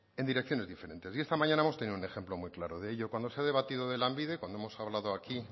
en direcciones diferentes y esta mañana hemos tenido un ejemplo muy claro de ello cuando se ha debatido de lanbide cuando hemos hablado aquí